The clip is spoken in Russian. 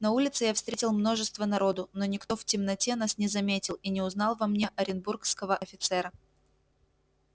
на улице я встретил множество народу но никто в темноте нас не заметил и не узнал во мне оренбургского офицера